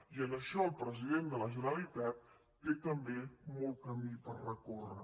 i en això el president de la generalitat té també molt camí per recórrer